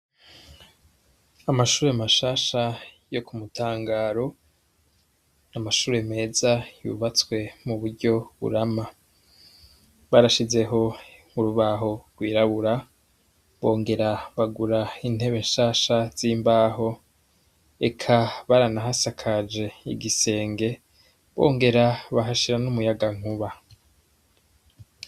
Amashure amashasha yo ku mutangaro niamashure meza yubatswe mu buryo burama barashizeho nkurubaho rwirabura bongera bagura intebe nshasha z'imbaho eka baranahasakaje igisenge bongera bahashira n'umuyaga nkuba.